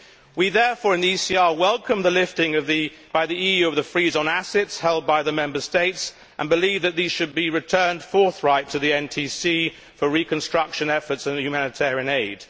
We in the ECR therefore welcome the lifting by the EU of the freeze on assets held by the Member States, and believe that these should be returned forthwith to the NTC for reconstruction efforts and humanitarian aid.